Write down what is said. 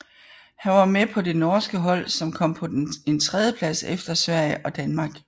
Han var med på det norske hold som kom på en tredjeplads efter Sverige og Danmark